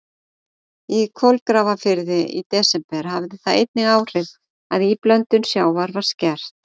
Í Kolgrafafirði í desember hafði það einnig áhrif að íblöndun sjávar var skert.